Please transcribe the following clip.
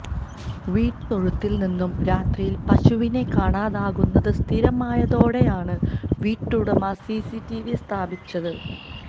വീട്ടിലെ തൊഴുത്തിൽ നിന്നും രാത്രിയിൽ പശുവിനെ കാണാതാകുന്നത് സ്ഥിരമായതോടെയാണ് വീട്ടുടമ സിസിടിവി സ്ഥാപിച്ചത്